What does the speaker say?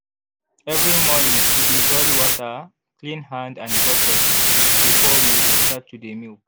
every morning we dey boil water clean hand and bucket before we go start to dey milk.